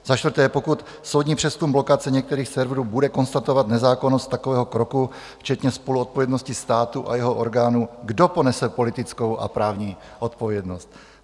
Za čtvrté, pokud soudní přezkum blokace některých serverů bude konstatovat nezákonnost takového kroku, včetně spoluzodpovědnosti státu a jeho orgánů, kdo ponese politickou a právní odpovědnost?